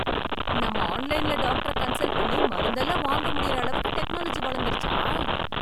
நாம ஆன்லைனிலே டாக்டர் ஆ கன்சல்ட் பண்ணி மருந்துளா வாங்க முடியற அளவுக்கு டெக்னாலஜி வளந்துருச்சா!